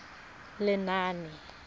lenaane